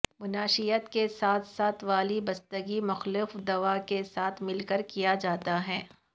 منشیات کے ساتھ ساتھ والی بستگی مخالف دوا کے ساتھ مل کر کیا جاتا ہے